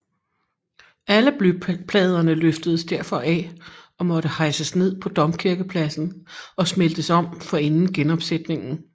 Alle blypladerne løftedes derfor af og måtte hejses ned på domkirkepladsen og smeltes om forinden genopsætning